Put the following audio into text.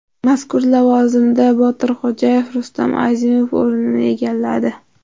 Mazkur lavozimda Botir Xo‘jayev Rustam Azimov o‘rnini egalladi.